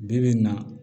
Bi bi in na